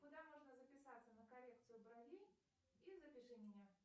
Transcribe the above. куда можно записаться на коррекцию бровей и запиши меня